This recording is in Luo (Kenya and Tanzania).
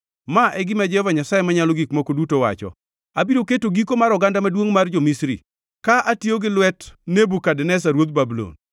“ ‘Ma e gima Jehova Nyasaye Manyalo Gik Moko Duto wacho: “ ‘Abiro keto giko mar oganda maduongʼ mar jo-Misri ka atiyo gi lwet Nebukadneza ruodh Babulon.